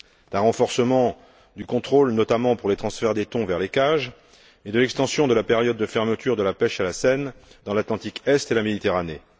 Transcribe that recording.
un renforcement du contrôle, notamment en ce qui concerne le transfert des thons vers les cages et l'extension de la période de fermeture de la pêche à la senne dans l'Atlantique Est et la Méditerranée.